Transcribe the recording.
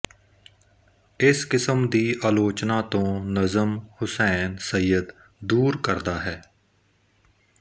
ਇਸ ਕਿਸਮ ਦੀ ਆਲੋਚਨਾ ਤੋਂ ਨਜਮ ਹੁਸੈਨ ਸੱਯਦ ਦੂਰ ਕਰਦਾ ਹੈ